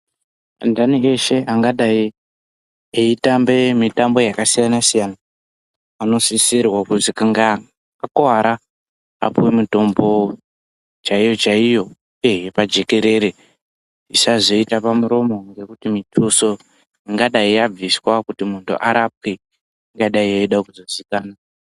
Anhani eshe angadai eitamba mitambo yakasiyanasiyana anosisirwe kuti kana einge akuwara apiwe mitombo chaiyo chaiyo eeh yepajekerere isazoita pamuromo ngekuti mituso ingadai yabviswa kuti muntu arapwe ingadai yeida kuzozikana.